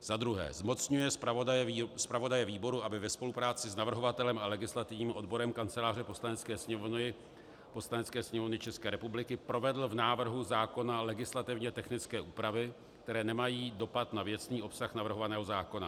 Za druhé - zmocňuje zpravodaje výboru, aby ve spolupráci s navrhovatelem a legislativním odborem Kanceláře Poslanecké sněmovny České republiky provedl v návrhu zákona legislativně technické úpravy, které nemají dopad na věcný obsah navrhovaného zákona.